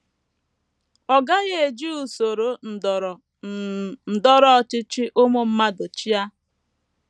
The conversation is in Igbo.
Ọ gaghị eji usoro ndọrọ um ndọrọ ọchịchị ụmụ mmadụ chịa.